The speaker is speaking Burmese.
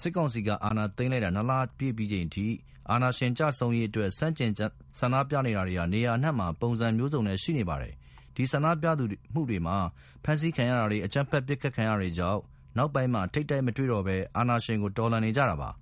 စစ်ကောင်စီက အာဏာသိမ်းလိုက်တာ ၂လပြည့်ပြီးချိန်အထိ အာဏာရှင်ကျဆုံးရေးအတွက် ဆန့်ကျင်ဆန္ဒပြနေတာတွေ နေရာအနှံ့မှာ ပုံစံမျိုးစုံနဲ့ ရှိနေပါတယ်။ ဒီဆန္ဒပြမှုတွေမှာ ဖမ်းဆီးခံရတာတွေ၊ အကြမ်းဖက်ပစ်ခတ် ခံရတာတွေကြောင့် နောက်ပိုင်းမှာ ထိပ်တိုက်မတွေ့တော့ဘဲ အာဏာရှင်စနစ်ကို တော်လှန်နေကြတာပါ။